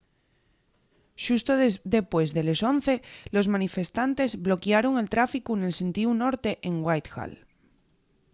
xusto depués de les 11:00 los manifestantes bloquiaron el tráficu nel sentíu norte en whitehall